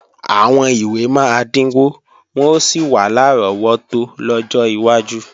Àwọn ìwé máa dínwó wọ́n ó sì wà lárọ́wọ́tó lọ́jọ́ iwájú